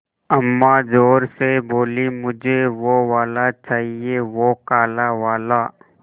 अम्मा ज़ोर से बोलीं मुझे वो वाला चाहिए वो काला वाला